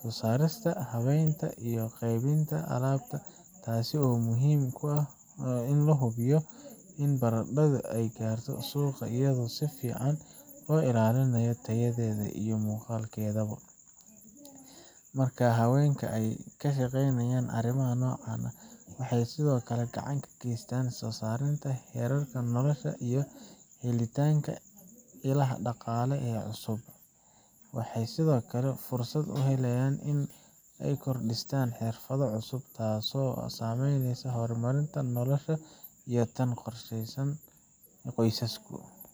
soo saarista, habeynta, iyo qaybinta alaabta, taasoo muhiim ku ah in la hubiyo in baradhadu ay gaarto suuqa iyadoo si fiican loo ilaalinayo tayadeeda iyo muuqaalkeeda bo Marka haweenka ay ka shaqeeyaan arrimaha noocan ah, waxay sidoo kale gacan ka geystaan sareynta heerarka nolosha iyo helitaanka ilaha dhaqaale ee cusub. Waxay sidoo kale fursad u helaan inay korodhsadaan xirfado cusub, taasoo u saamaxaysa inay horumariyaan noloshooda iyo tan qoysaskooda.